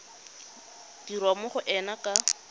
dirwa mo go ena ka